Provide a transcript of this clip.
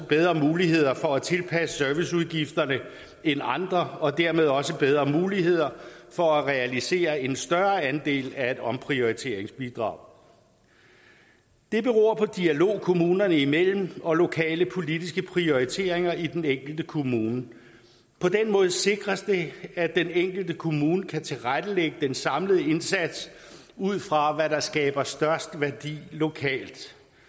bedre muligheder for at tilpasse serviceudgifterne end andre og dermed også bedre muligheder for at realisere en større andel af et omprioriteringsbidrag det beror på dialog kommunerne imellem og lokale politiske prioriteringer i den enkelte kommune på den måde sikres det at den enkelte kommune kan tilrettelægge den samlede indsats ud fra hvad der skaber størst værdi lokalt